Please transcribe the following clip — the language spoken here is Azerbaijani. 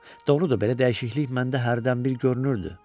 Doğrudur, belə dəyişiklik məndə hərdən bir görünürdü.